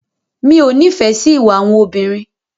Mi ò nífẹ̀ẹ́ sí ìwà àwọn obìnrin.